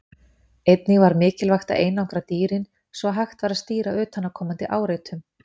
Einnig var mikilvægt að einangra dýrin, svo að hægt væri að stýra utanaðkomandi áreitum.